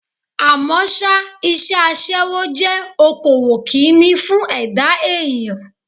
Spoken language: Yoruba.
Àmọ́ ṣá, iṣẹ́ aṣẹ́wó jẹ́ okòwò Kínní fún ẹ̀dá èèyàn.